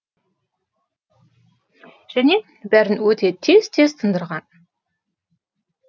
және бәрін өте тез тындырған